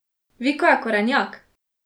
Viko je korenjak!